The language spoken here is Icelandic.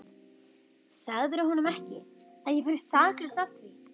Sagðirðu honum ekki, að ég væri saklaus að því?